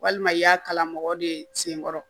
Walima i y'a kala mɔgɔ de senkɔrɔ